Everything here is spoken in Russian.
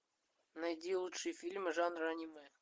найди лучшие фильмы жанра аниме